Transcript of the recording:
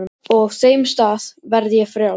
Og á þeim stað verð ég frjáls.